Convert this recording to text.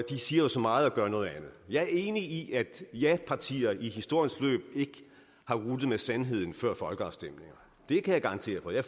de siger så meget og gør noget andet jeg er enig i at japartier historisk ikke har ruttet med sandheden før folkeafstemninger det kan jeg garantere for jeg